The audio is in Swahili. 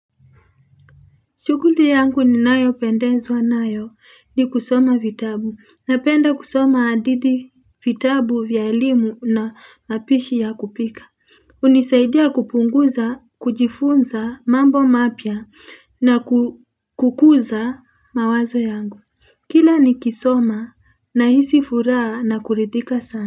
Shughuli yangu ninayopendenzwa nayo ni kusoma vitabu napenda kusoma hadithi vitabu vya elimu na mapishi ya kupika. Hunisaidia kupunguza, kujifunza mambo mapya na kukuza mawazo yangu. Kila nikisoma nahisi furaha na kuridhika sana.